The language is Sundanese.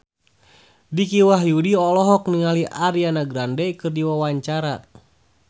Dicky Wahyudi olohok ningali Ariana Grande keur diwawancara